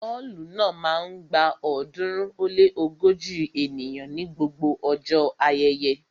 Ọ́ọ̀lù náà máa ń gba ọ̀ọ́dúnrún ó lé ógójì ènìyàn ní gbogbo ọjọ́ ayẹyẹ